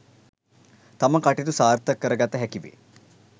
තම කටයුතු සාර්ථක කර ගත හැකි වේ